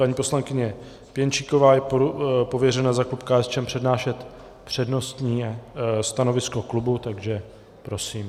Paní poslankyně Pěnčíková je pověřena za klub KSČM přednášet přednostně stanovisko klubu, takže prosím.